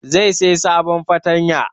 Zai saya sabon fartanya